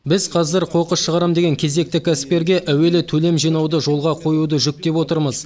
біз қазір қоқыс шығарам деген кезекті кәсіпкерге әуелі төлем жинауды жолға қоюды жүктеп отырмыз